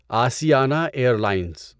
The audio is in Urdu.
آسیانہ ایئر لائنز